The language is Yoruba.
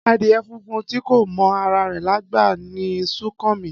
Adìyẹ funfun tí kò mọ ara rẹ̀ lágbà ni Súnkànmí